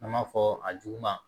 An b'a fɔ a juguman